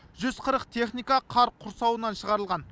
жүз қырық техника қар құрсауынан шығарылған